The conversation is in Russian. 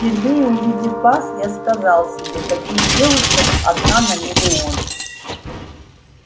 впервые увидев вас я сказал себе таких девушек одна на миллион